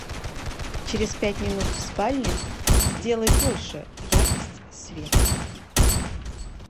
через пять минут в спальне сделай больше яркость света